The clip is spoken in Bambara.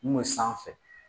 N m'o sanfɛ